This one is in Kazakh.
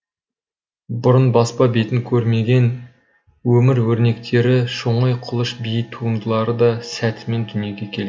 бұрын баспа бетін көрмеген өмір өрнектері шоңай құлыш би туындылары да сәтімен дүниеге келген